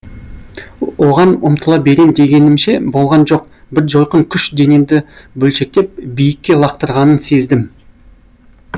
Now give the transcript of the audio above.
оған ұмтыла берем дегенімше болған жоқ бір жойқын күш денемді бөлшектеп биікке лақтырғанын сездім